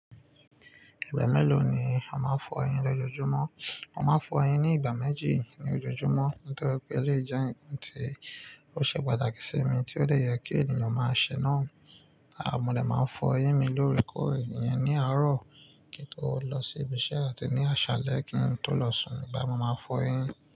Ìgbà mélòó ni ó máa ń fọ eyín lọjọjúmọ́? Mo ma n fo eyin ni ìgbà méjì lojoojumo nítorí pe eleyi o je nkan ti o se pàtàkì s'emi, to de ye ki ènìyàn ma se náà mọ́ dẹ̀ máa ń fọ eyín mi lóorekore iyen ní àárọ̀ kí n tó lọ sí ibi iṣẹ́ àti ní àsálẹ́ kí n tó lọ sùn ni ìgbà tí mo máa ń fọ eyín.